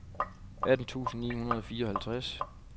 atten tusind ni hundrede og fireoghalvtreds